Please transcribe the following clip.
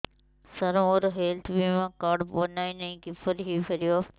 ସାର ମୋର ହେଲ୍ଥ ବୀମା କାର୍ଡ ବଣାଇନାହିଁ କିପରି ହୈ ପାରିବ